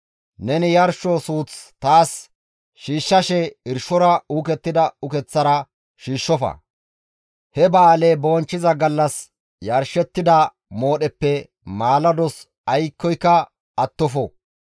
«Neni yarsho suuth taas shiishshashe irshora uukettida ukeththara shiishshofa. He ba7aaleza bonchchiza gallas yarshettida moodheppe maalados aykkoyka attofo.